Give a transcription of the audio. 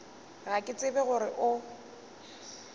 ga ke tsebe gore o